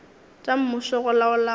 tša mmušo go laola go